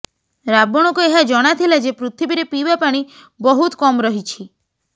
ରାବଣକୁ ଏହା ଜଣା ଥିଲା ଯେ ପୃଥିବୀରେ ପିଇବା ପାଣି ବହୁତ୍ କମ୍ ରହିଛି